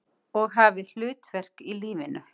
Og hafi hlutverk í lífinu.